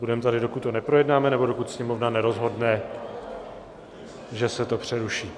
Budeme tady, dokud to neprojednáme nebo dokud Sněmovna nerozhodne, že se to přeruší.